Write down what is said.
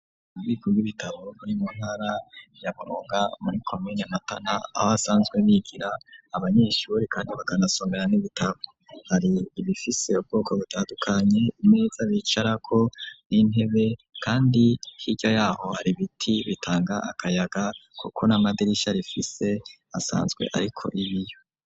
Ububiko bw'ibitabo buri muntara ya buronka muri komine matana aho basanzwe bigira abanyeshure kandi bakanasomera n'ibitabo hari ibifise ubwoko butadukanye imeza bicara ko n'intebe kandi hirya yaho hari ibiti bitanga akayaga kuko n'amadirisha rifise asanzwe ariko ibiyo.